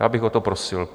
Já bych o to prosil.